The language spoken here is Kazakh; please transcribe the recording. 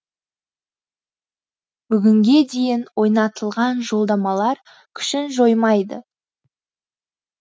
бүгінге дейін ойнатылған жолдамалар күшін жоймайды